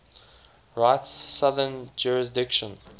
rite's southern jurisdiction